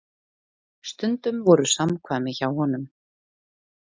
Stundum voru samkvæmi hjá honum.